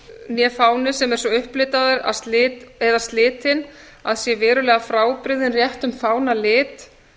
né fáni sem er svo upplitaður eða slitinn að sé verulega frábrugðinn réttum fána um lit